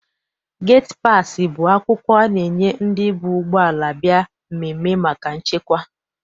Geti paasị bụ akwụkwọ a na- enye ndị bu ụgbọala bịa mmemme maka nchekwa.